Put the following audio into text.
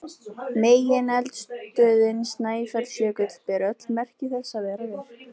Megineldstöðin Snæfellsjökull ber öll merki þess að vera virk.